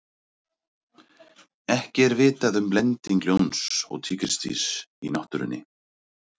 ekki er vitað um blending ljóns og tígrisdýrs í náttúrunni